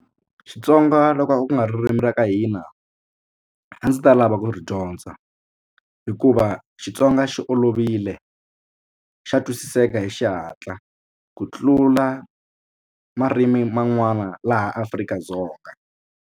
Xitsonga loko ku nga ririmi ra ka hina a ndzi ta lava ku ri dyondza hikuva Xitsonga xi olovile xa twisiseka hi xihatla ku tlula marimi man'wana laha Afrika-Dzonga.